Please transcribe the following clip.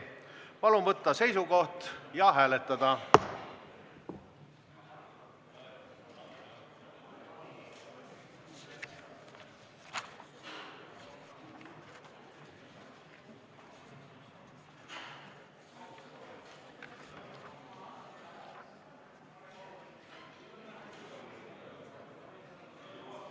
Palun võtta seisukoht ja hääletada!